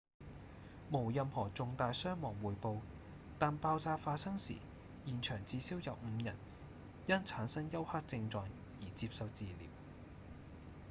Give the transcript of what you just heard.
無任何重大傷亡匯報但爆炸發生時現場至少有五人因產生休克症狀而接受治療